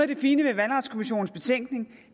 det fine ved valgretskommissionens betænkning